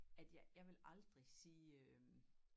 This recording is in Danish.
At jeg jeg ville aldrig sige øh